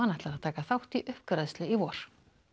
ætlar að taka þátt í uppgræðslu í vor